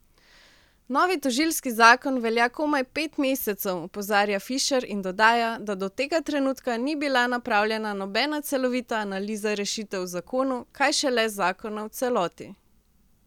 Novi tožilski zakon velja komaj pet mesecev, opozarja Fišer in dodaja, da do tega trenutka ni bila napravljena nobena celovita analiza rešitev v zakonu, kaj šele zakona v celoti.